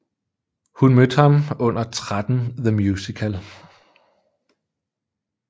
Hun mødte ham under 13 the Musical